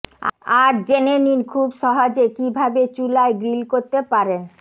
আজ জেনে নিন খুব সহজে কীভাবে চুলায় গ্রিল করতে পারেন